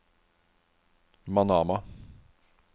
Manama